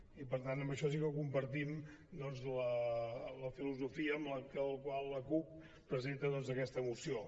i per tant en això sí que compartim doncs la filosofia amb la qual la cup presenta aquesta moció